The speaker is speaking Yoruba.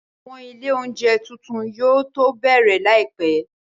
Àwọn ilé oúnjẹ tuntun yóò tó bẹ̀rẹ̀ láìpẹ́